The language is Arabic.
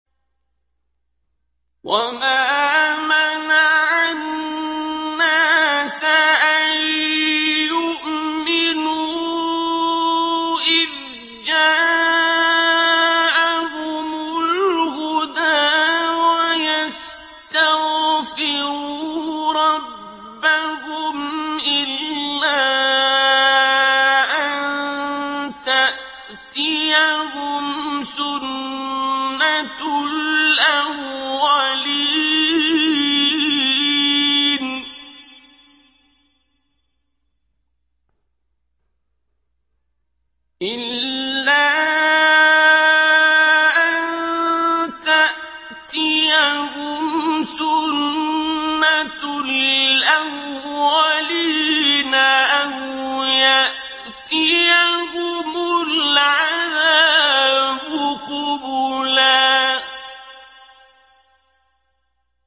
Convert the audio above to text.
وَمَا مَنَعَ النَّاسَ أَن يُؤْمِنُوا إِذْ جَاءَهُمُ الْهُدَىٰ وَيَسْتَغْفِرُوا رَبَّهُمْ إِلَّا أَن تَأْتِيَهُمْ سُنَّةُ الْأَوَّلِينَ أَوْ يَأْتِيَهُمُ الْعَذَابُ قُبُلًا